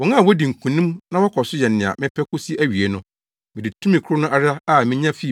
Wɔn a wodi nkonim na wɔkɔ so yɛ nea mepɛ kosi awiei no, mede tumi koro no ara a minya fii